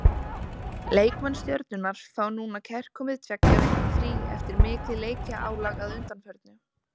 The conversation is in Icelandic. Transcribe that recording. Leikmenn Stjörnunnar fá núna kærkomið tveggja vikna frí eftir mikið leikjaálag að undanförnu.